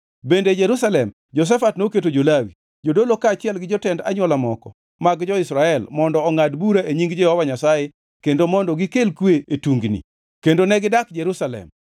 Bende e Jerusalem, Jehoshafat noketo jo-Lawi, jodolo kaachiel gi jotend anywola moko mag jo-Israel mondo ongʼad bura e nying Jehova Nyasaye kendo mondo gikel kwe e tungni. Kendo negidak Jerusalem.